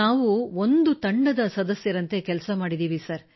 ನಾವು ಒಂದು ತಂಡದ ಸದಸ್ಯರಂತೆ ಕೆಲಸ ಮಾಡಿದ್ದೇವೆ ಸರ್